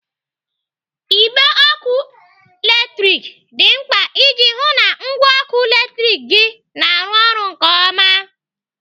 Igbe ọkụ latrik dị mkpa iji hụụ na ngwa ọkụ latrik gị na-arụ ọrụ nke ọma.